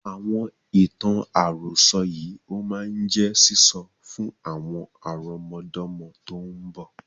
Àwọn ìtàn àròsọ̀ yìí ó mọ jẹ́ sísọ fún àwọn àrọmọdọ́mọ tòun bọ̀